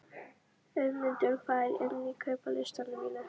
Auðmundur, hvað er á innkaupalistanum mínum?